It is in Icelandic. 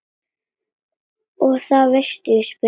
Og það veistu Ísbjörg mín.